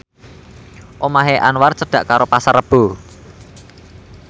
omahe Anwar cedhak karo Pasar Rebo